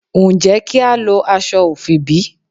Ǹjẹ́ kí a lo aṣọ ofi bí?